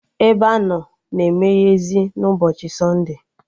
Ebeanọ na emeyezị na ụbọchị sọnde